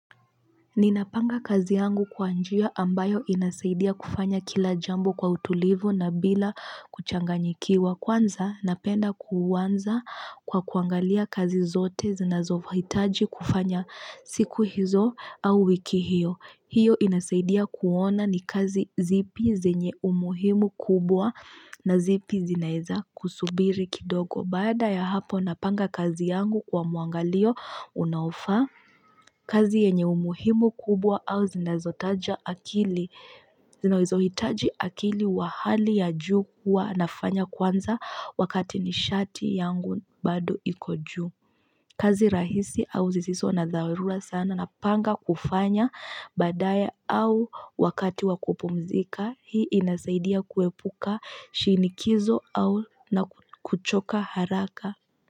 Ninapanga kazi yangu kwa njia ambayo inasaidia kufanya kila jambo kwa utulivu na bila kuchanganyikiwa kwanza napenda kuanza kwa kuangalia kazi zote zinazohitaji kufanya siku hizo au wiki hiyo. Hiyo inasaidia kuona ni kazi zipi zenye umuhimu kubwa na zipi zinaeza kusubiri kidogo. Baada ya hapo napanga kazi yangu kwa muangalio unaofaa. Kazi yenye umuhimu kubwa au zinazotaja akili. Zinazohitaji akili wa hali ya juu huwa nafanya kwanza wakati nishati yangu bado iko juu. Kazi rahisi au zisizo na dharura sana napanga kufanya baadaye au wakati wakupumzika. Hii inasaidia kuepuka shinikizo au na kuchoka haraka.